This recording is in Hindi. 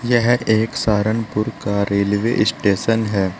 यह एक सहारनपुर का रेलवे स्टेशन है।